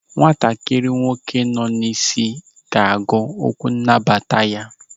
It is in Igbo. Nwatakịrị nwoke nọ n'isi ga-agụ okwu nnabata ya.